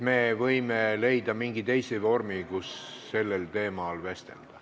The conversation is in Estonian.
Me võime leida mingi teise aja ja vormi, kuidas sellel teemal vestelda.